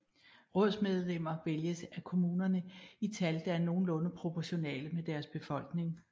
Rådsmedlemmer vælges af kommunerne i tal der er nogenlunde proportionale med deres befolkning